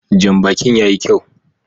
Janbakin ya yi kyau